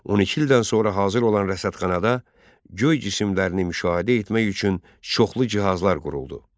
12 ildən sonra hazır olan rəsədxanada göy cisimlərini müşahidə etmək üçün çoxlu cihazlar quruldu.